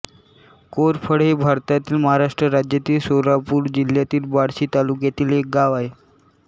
कोरफळे हे भारतातील महाराष्ट्र राज्यातील सोलापूर जिल्ह्यातील बार्शी तालुक्यातील एक गाव आहे